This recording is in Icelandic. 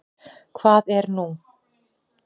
Hvað er nú?